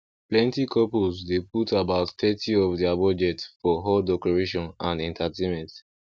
plenty couples dey put about thirty of their budget for hall decoration and entertainment